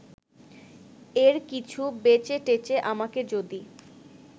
এর কিছু বেচেটেচে আমাকে যদি